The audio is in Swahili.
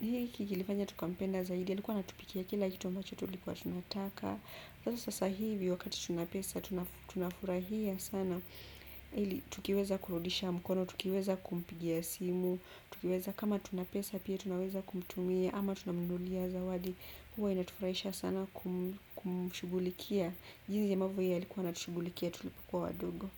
hiki kilifanya tukampenda zaidi alikuwa anatupikia kila kitu ambacho tulikuwa tunataka sasa sasa hivi wakati tuna pesa tunafurahia sana. Tukiweza kurudisha mkono, tukiweza kumpigia simu tukiweza kama tunapesa pia tunaweza kumtumia ama tunamnunulia zawadi huwa inatufuraisha sana kumshugulikia jinsi ambavyo yeye alikuwa anatushugulikia tulipokuwa wadogo.